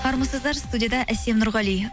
армысыздар студияда әсем нұрғали